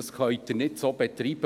so können Sie es nicht betreiben.